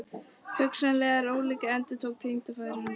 Hugsanlegt en ólíklegt endurtók tengdafaðir hans.